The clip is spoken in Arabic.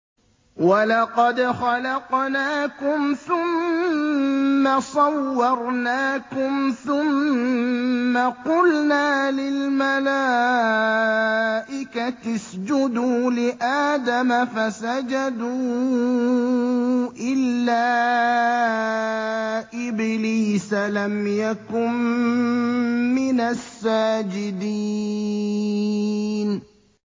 وَلَقَدْ خَلَقْنَاكُمْ ثُمَّ صَوَّرْنَاكُمْ ثُمَّ قُلْنَا لِلْمَلَائِكَةِ اسْجُدُوا لِآدَمَ فَسَجَدُوا إِلَّا إِبْلِيسَ لَمْ يَكُن مِّنَ السَّاجِدِينَ